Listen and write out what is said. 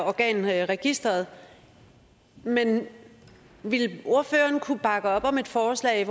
organregisteret men ville ordføreren kunne bakke op om et forslag